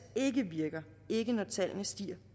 ikke virker ikke når tallene stiger